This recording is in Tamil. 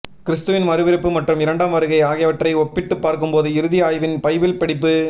கிறிஸ்துவின் மறுபிறப்பு மற்றும் இரண்டாம் வருகை ஆகியவற்றை ஒப்பிட்டுப் பார்க்கும்போது இறுதி ஆய்வின் பைபிள் படிப்பு